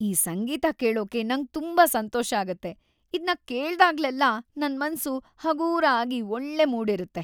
ಈ ಸಂಗೀತ ಕೇಳೊಕೆ ನಂಗ್ ತುಂಬಾ ಸಂತೋಷ ಆಗತ್ತೆ. ಇದ್ನ ಕೇಳ್ದಾಗ್ಲೆಲ್ಲ ನನ್‌ ಮನ್ಸು ಹಗೂರ ಆಗಿ ಒಳ್ಳೆ ಮೂಡ್‌ ಇರತ್ತೆ.